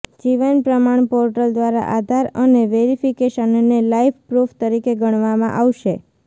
જીવન પ્રમાણ પોર્ટલ દ્વારા આધાર અને વેરિફિકેશનને લાઈફ પ્રૂફ તરીકે ગણવામાં આવશે